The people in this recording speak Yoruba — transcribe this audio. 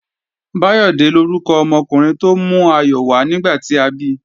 Báyọ̀dé lórúkọ ọmọkùnrin tó mú ayọ̀ wá nígbà tí a bi